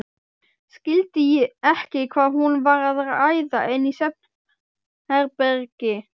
Skildi ekki hvað hún var að æða inn í svefnherbergi.